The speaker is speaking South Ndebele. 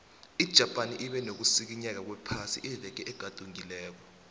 ijapan ibe nokusikinyeka kwephasi iveke egadungileko